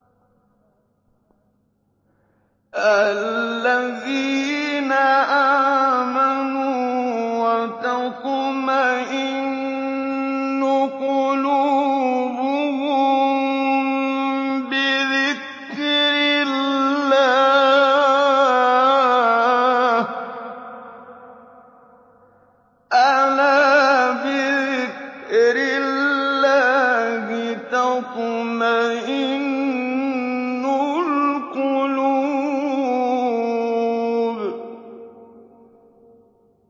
الَّذِينَ آمَنُوا وَتَطْمَئِنُّ قُلُوبُهُم بِذِكْرِ اللَّهِ ۗ أَلَا بِذِكْرِ اللَّهِ تَطْمَئِنُّ الْقُلُوبُ